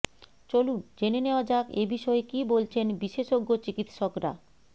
চলুন জেনে নেওয়া যাক এ বিষয়ে কী বলছেন বিশেষজ্ঞ চিকিত্সকরা